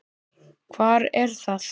Hvar er það?